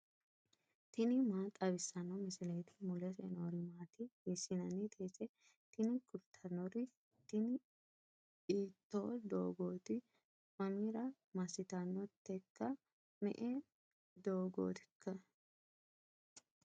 tini maa xawissanno misileeti ? mulese noori maati ? hiissinannite ise ? tini kultannori tini iitto doogooti mamira massitannoteikka me'e doogootikka